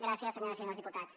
gràcies senyores i senyors diputats